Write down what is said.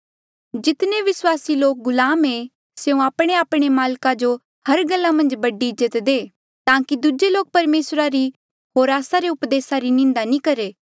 जितने विस्वासी लोक गुलाम ऐें स्यों आपणेआपणे माल्का जो हर गल्ला मन्झ बड़ी इज्जत दे ताकि दूजे लोक परमेसरा री होर आस्सा रे उपदेसा री निंदा नी करहे